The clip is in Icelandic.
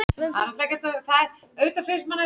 Sjá erindi um það á þessari síðu.